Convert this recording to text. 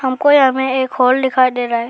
हमको यहां में एक हॉल दिखाई दे रहा है।